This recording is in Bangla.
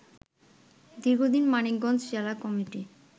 দীর্ঘদিন মানিকগঞ্জ জেলা কমিটি